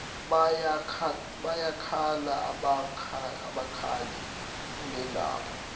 bayakhala abakhali unendaba